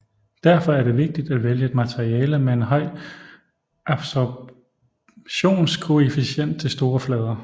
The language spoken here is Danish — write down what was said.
Derfor er det vigtigt at vælge et materiale med en høj absorptionskoefficient til store flader